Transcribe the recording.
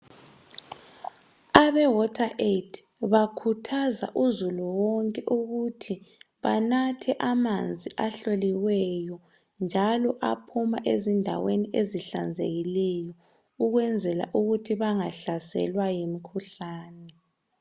Abosizo ngamanzi bakhuthaza uzulu wonke ukuthi anathe amanzi ahloliweyo njalo aphuma endaweni ezihlanzekileyo ukwenzela ukuthi bangahlaselwa yimikhuhlane.